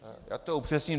Já to upřesním.